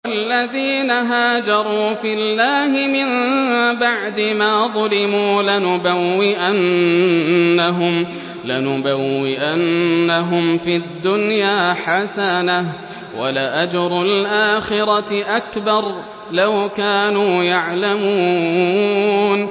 وَالَّذِينَ هَاجَرُوا فِي اللَّهِ مِن بَعْدِ مَا ظُلِمُوا لَنُبَوِّئَنَّهُمْ فِي الدُّنْيَا حَسَنَةً ۖ وَلَأَجْرُ الْآخِرَةِ أَكْبَرُ ۚ لَوْ كَانُوا يَعْلَمُونَ